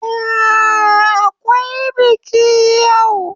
Ehh, Akwai biki yau.